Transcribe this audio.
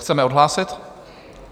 Chceme odhlásit?